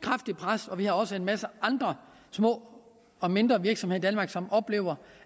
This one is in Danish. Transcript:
kraftigt pres vi har også en masse andre små og mindre virksomheder i danmark som oplever